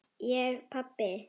Ég pabbi!